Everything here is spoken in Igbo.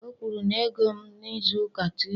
Ọ kwụrụ m ego m n'izuụka Tọzdee